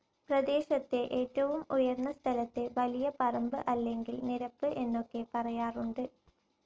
പ്രദേശത്തെ ഏറ്റവും ഉയർന്ന സ്ഥലത്തെ വലിയ പറമ്പ് അല്ലെങ്കിൽ നിരപ്പ് എന്നൊക്കെ പറയാറുണ്ട്.